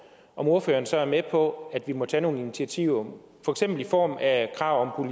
ordføreren så med på at vi må tage nogle initiativer for eksempel i form af krav om